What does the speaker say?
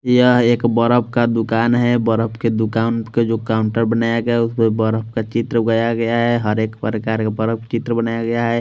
यह एक बर्फ का दुकान है बर्फ के दुकान के जो काउंटर बनाया गया है उसमें बर्फ का चित्र उगाया गया है हर एक प्रकार का बर्फ चित्र बनाया गया है।